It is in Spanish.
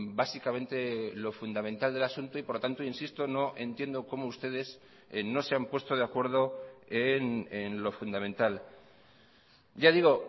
básicamente lo fundamental del asunto y por lo tanto insisto no entiendo cómo ustedes no se han puesto de acuerdo en lo fundamental ya digo